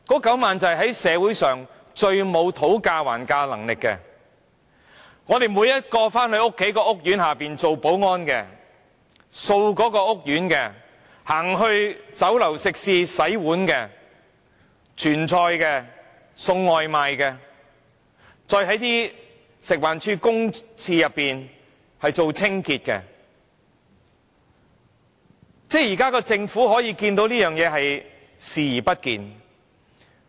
他們是社會上最沒有討價還價能力的，是在我們居住的每一個屋苑當保安員的、清潔屋苑的清潔工人、在酒樓食肆洗碗、傳菜的、送外賣的，以及在食物環境衞生署公廁內的清潔工人，政府卻可以對這情況視而不見。